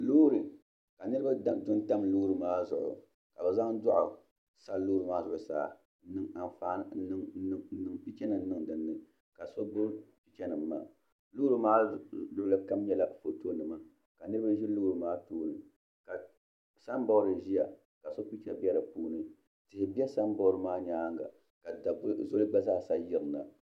lori ka niriba chini tiŋ chɛni lori maa zuɣ' ka be zaŋ zuɣ saa lori maa zuɣ' saa n niŋ be pɛchi nim niŋ dini ka so gbabi pɛchɛnim maa lori maa luɣili kam nyɛla pɛchɛ nima ka niriba ʒɛ lori maa tuuni ka samibɔdi ʒɛya ka pɛchɛnim bɛ di puuni ka shɛbi bɛ samibɔdi maa nyɛŋa